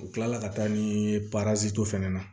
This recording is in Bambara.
U kila la ka taa ni fɛnɛ na